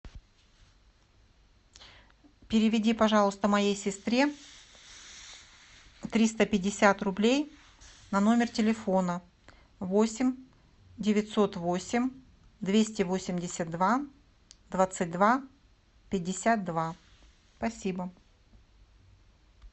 переведи пожалуйста моей сестре триста пятьдесят рублей на номер телефона восемь девятьсот восемь двести восемьдесят два двадцать два пятьдесят два спасибо